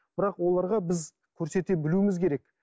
бірақ оларға біз көрсете білуіміз керек